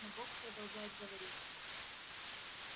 но бог продолжает говорить